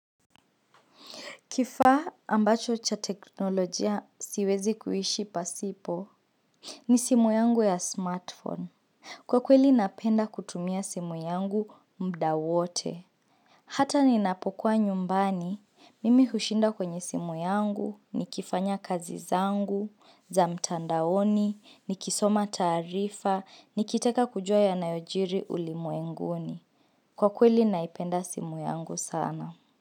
Kifaa ambacho cha teknolojia siwezi kuishi pasipo, ni simu yangu ya smartphone. Kwa kweli napenda kutumia simu yangu muda wote. Hata ninapokuwa nyumbani, mimi hushinda kwenye simu yangu, nikifanya kazi zangu, za mtandaoni, nikisoma taarifa, nikitaka kujua yanayojiri ulimwenguni. Kwa kweli naipenda simu yangu sana.